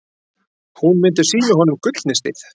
Hún myndi sýna honum gullnistið.